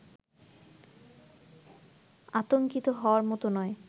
আতংকিত হওয়ার মত নয়